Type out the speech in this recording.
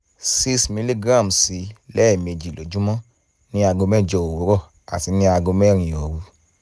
6 mg sí i lẹ́ẹ̀mejì lójúmọ́ ní aago mẹ́jọ òwúrọ̀ àti ní aago mẹ́rin òru